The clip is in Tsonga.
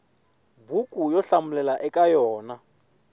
buku yo hlamulela eka yona